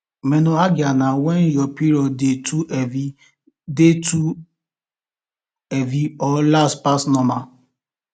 menorrhagia na when your period dey too heavy dey too heavy or last pass normal